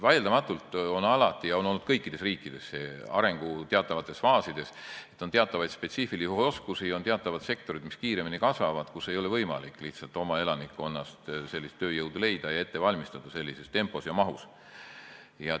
Vaieldamatult on alati ja kõikides riikides olnud teatavates arengufaasides nii, et teatavate spetsiifiliste oskuste puhul ja teatavates sektorites, mis kasvavad kiiremini, ei ole võimalik lihtsalt oma elanikkonnast tööjõudu leida ja sellises tempos ja mahus ette valmistada.